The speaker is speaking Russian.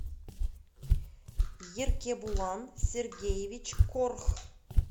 еркебулан сергеевич корх